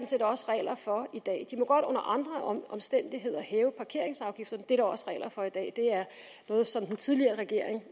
set også regler for i dag de må godt under andre omstændigheder hæve parkeringsafgifterne det er der også regler for i dag det er noget som den tidligere regering